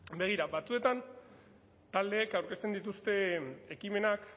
begira batzuetan taldeek aurkezten dituzte ekimenak